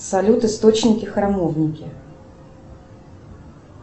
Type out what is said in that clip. салют источники храмовники